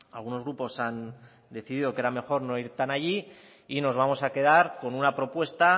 algunos grupos han decidido que era mejor no ir tan allí y nos vamos a quedar con una propuesta